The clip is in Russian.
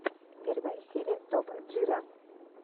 первая серия топ джира